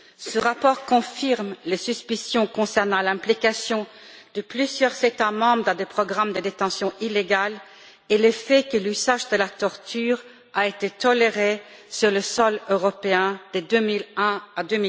Ce rapport confirme les suspicions concernant l'implication de plusieurs États membres dans des programmes de détention illégale et le fait que l'usage de la torture a été toléré sur le sol européen de 2001 à